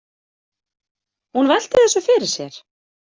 Hún velti þessu fyrir sér.